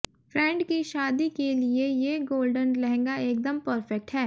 friend की शादी के लिए ये गोल्डन लहंगा एकदम परफेक्ट है